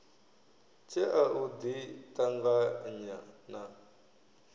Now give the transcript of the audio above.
tshea u ḓi ṱanganya na